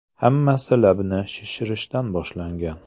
Hammasi labni shishirishdan boshlangan.